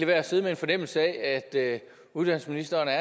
være at sidde med en fornemmelse af at uddannelsesministeren er